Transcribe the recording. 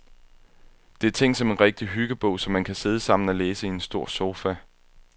Det er tænkt som en rigtig hyggebog, som man kan sidde sammen og læse i en stor sofa.